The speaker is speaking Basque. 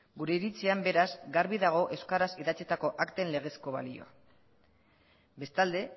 gure iritzian beraz garbi dago euskaraz idatzitako akten legezko balio bestalde